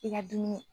I ka dumuni